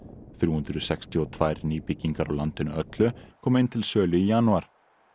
þrjú hundruð sextíu og tvö nýbyggingar á landinu öllu komu inn til sölu í janúar